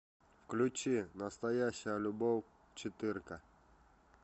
включи настоящая любовь четырка